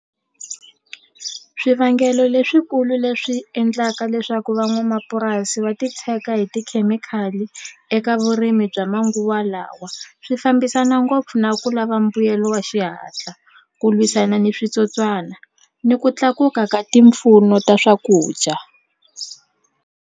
Swivangelo leswikulu leswi endlaka leswaku van'wamapurasi va titshega hi tikhemikhali eka vurimi bya manguva lawa swi fambisana ngopfu na ku lava mbuyelo wa xihatla ku lwisana ni switsotswana ni ku tlakuka ka ti mpfuno ta swakudya.